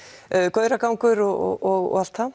gauragangur og allt það